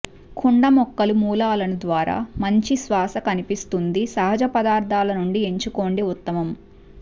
కుండ మొక్కలు మూలాలను ద్వారా మంచి శ్వాస కనిపిస్తుంది సహజ పదార్థాల నుండి ఎంచుకోండి ఉత్తమం